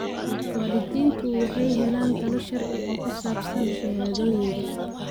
Waalidiintu waxay helaan talo sharci oo ku saabsan shahaadooyinka.